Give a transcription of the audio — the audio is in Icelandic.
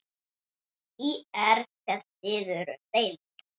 ÍR féll niður um deild.